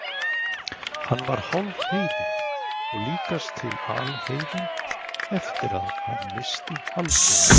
Hann var hálfheiðinn og líkast til alheiðinn eftir að hann missti Halldóru.